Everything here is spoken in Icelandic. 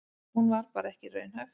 Hún var bara ekki raunhæf.